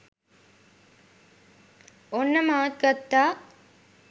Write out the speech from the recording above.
ඔන්න මාත් ගත්තා